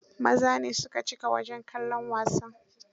Maza ne su ka cika wajen kallon wasan.